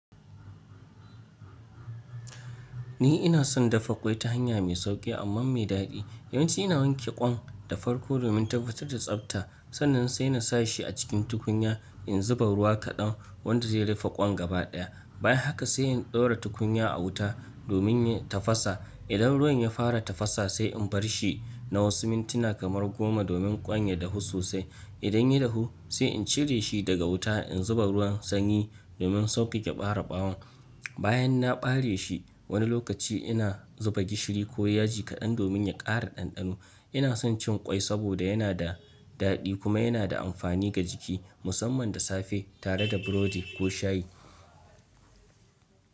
Ni ina son dafa ƙwai ta hanya mai sauƙi amma mai daɗi. Yawanci ina wanke ƙwan da farko domin tabbatar da tsabta, sannan sai na sa shi a cikin tukunya in zuba ruwa kaɗan wanda zai rufe ƙwan gabaɗaya. Bayan haka sai in ɗora tukunya a wuta domin ya tafasa. Idan ruwan ya fara tafasa sai in barshi na wasu mintina kamar goma domin ƙwan ya dahu sosai. Idan ya dahu sai in cire shi daga wuta in zuba ruwan sanyi domin sauƙake bare ɓawon. Bayan na bare shi, wani lokaci ina zuba gishiri ko yaji kaɗan domin ya ƙara ɗanɗano. Ina son cin ƙwai saboda yana da daɗi kuma yana da amfani ga jiki, musamman da safe tare da burodi ko shayi.